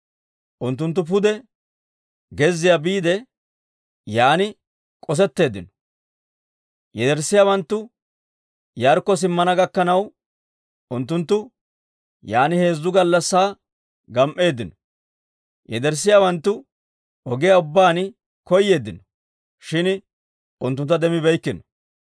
Unttunttu pude gezziyaa biide, yaan k'osetteeddinno; yederssiyaawanttu Yaarikko simmana gakkanaw, unttunttu yaan heezzu gallassaa gam"eeddino. Yederssiyaawanttu ogiyaa ubbaan koyeeddino; shin unttuntta demmibeeykkino.